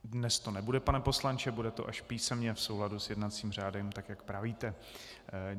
Dnes to nebude, pane poslanče, bude to až písemně v souladu s jednacím řádem, tak jak pravíte.